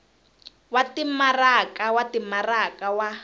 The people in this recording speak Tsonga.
wa timaraka wa timaraka wa